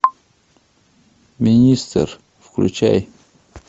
министр включай